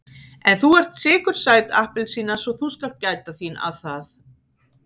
En þú ert sykursæt appelsína svo þú skalt gæta þín að það.